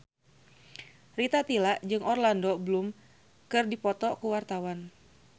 Rita Tila jeung Orlando Bloom keur dipoto ku wartawan